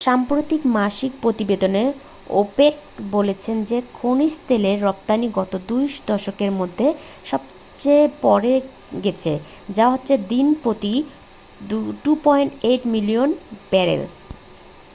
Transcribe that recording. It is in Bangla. সাম্প্রতিক মাসিক প্রতিবেদনে ওপেক বলেছে যে খনিজ তেলের রপ্তানি গত 2 দশকের মধ্যে সবচেয়ে পরে গেছে যা হচ্ছে দিন প্রতি 2.8 মিলিয়ন ব্যারেল